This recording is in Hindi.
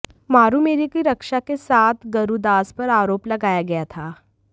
मारु मेरु की रक्षा के साथ गरुदास पर आरोप लगाया गया था